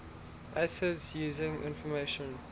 acids using information